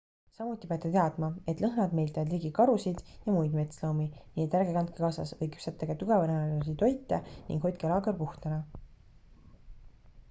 samuti peate teadma et lõhnad meelitavad ligi karusid ja muid metsloomi nii et ärge kandke kaasas või küpsetage tugevalõhnalisi toite ning hoidke laager puhtana